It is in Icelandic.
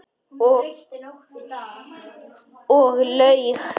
Ég laug.